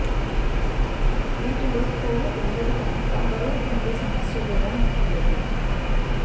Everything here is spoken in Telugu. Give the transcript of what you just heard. వీటిలో కొవ్వు ఉండదు కనుక బరువు పొందే సమస్యకూడా మీకు లేదు